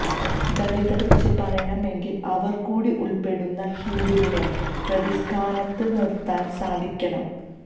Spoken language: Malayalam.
ദളിതരെ ക്കുറിച്ച് പറയണമെങ്കില് അവര് കൂടി ഉള്പ്പെടുന്ന ഹിന്ദുവിനെ പ്രതിസ്ഥാനത്ത് നിര്ത്താന് സാധിക്കണം